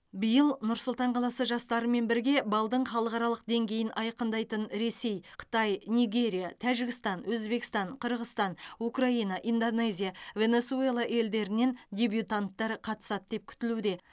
биыл нұр сұлтан қаласы жастарымен бірге балдың халықаралық деңгейін айқындайтын ресей қытай нигерия тәжікстан өзбекстан қырғызстан украина индонезия венесуэла елдерінен дебютанттар қатысады деп күтілуде